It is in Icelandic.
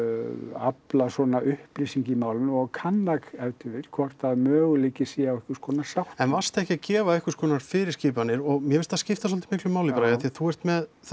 afla upplýsinga í málinu og kanna ef til vill hvort möguleiki sé á einhvers konar sáttum en varstu ekki að gefa einhvers konar fyrir skipanir og mér finnst það skipta svolítið miklu máli bara af því að þú ert með